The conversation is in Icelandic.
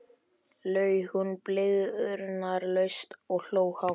laug hún blygðunarlaust og hló hátt.